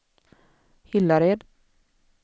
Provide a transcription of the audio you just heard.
Hillared